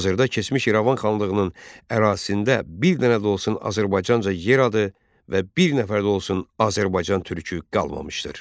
Hazırda keçmiş İrəvan xanlığının ərazisində bir dənə də olsun Azərbaycan adı və bir nəfər də olsun Azərbaycan türkü qalmamışdır.